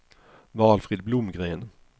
Valfrid Blomgren